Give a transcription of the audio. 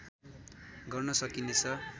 गर्न सकिने छ